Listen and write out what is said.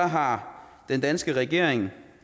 har den danske regering